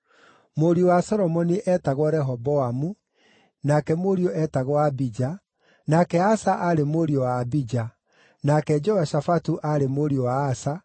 Mũriũ wa Solomoni eetagwo Rehoboamu, nake mũriũ eetagwo Abija, nake Asa aarĩ mũriũ wa Abija, nake Jehoshafatu aarĩ mũriũ wa Asa,